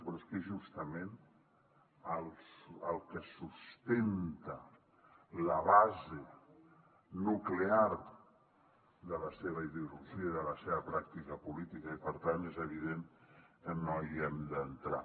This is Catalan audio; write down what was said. però és que és justament el que sustenta la base nuclear de la seva ideologia i de la seva pràctica política i per tant és evident que no hi hem d’entrar